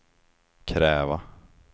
kräva